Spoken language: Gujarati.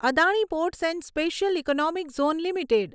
Adani ports and special economic zone limited